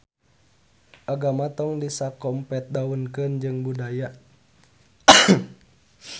Agama tong disakompetdaunkeun jeung budaya